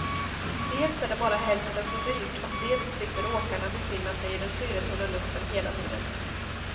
Dels är det bara hälften så dyrt och dels slipper åkarna befinna sig i den syretunna luften hela tiden.